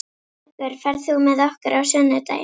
Bergur, ferð þú með okkur á sunnudaginn?